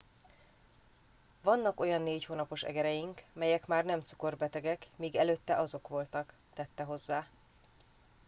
vannak olyan négy hónapos egereink melyek már nem cukorbetegek míg előtte azok voltak - tette hozzá